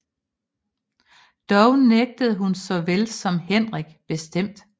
Dog nægtede hun såvel som Henrik bestemt